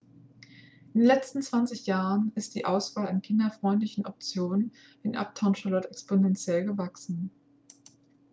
in den letzten 20 jahren ist die auswahl an kinderfreundlichen optionen in uptown charlotte exponentiell gewachsen